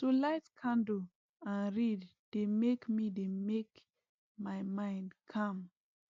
to light candle and read dey make my dey make my mind calm